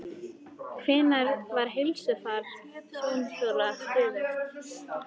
Hvenær var heilsufar tjónþola stöðugt?